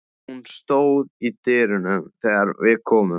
Hún stóð í dyrunum þegar við komum.